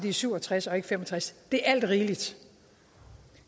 er syv og tres og ikke fem og tres det er alt rigeligt